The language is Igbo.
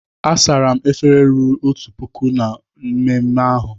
A sara m efere ruru otu puku na mmemme ahụ.